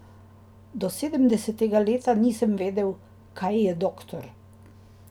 Do sedemdesetega leta nisem vedel, kaj je doktor.